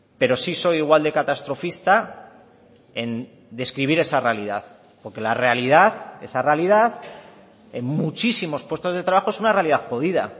pero sí soy igual de catastrofista en describir esa realidad porque la realidad esa realidad en muchísimos puestos de trabajo es una realidad jodida